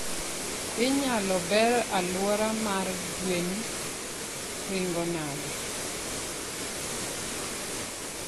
Inyalo ber aluora mar gwen ringo nade?